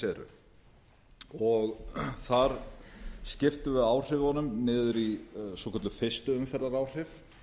frumvarpið eru þar skiptum við áhrifunum niður í svokölluð fyrstu umferðar áhrif